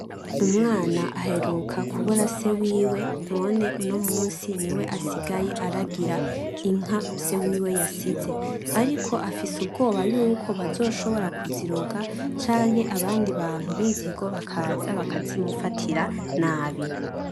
Umwana aheruka kubura se wiwe none uno munsi niwe asigaye aragira inka se wiwe yasize. Ariko afise ubwoba yuko bazoshobora kuziroga canke abantu binzigo bakaza bakazimufatira nabi.